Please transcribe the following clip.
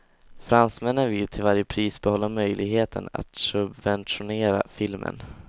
Fransmännen vill till varje pris behålla möjligheten att subventionera filmen.